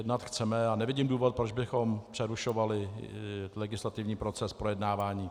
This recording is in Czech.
Jednat chceme a nevidím důvod, proč bychom přerušovali legislativní proces projednávání.